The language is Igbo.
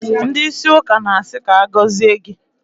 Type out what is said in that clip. Ndị ísí ụka na-asị, "ka agọzie gị"